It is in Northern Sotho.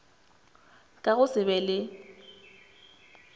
ka go se be le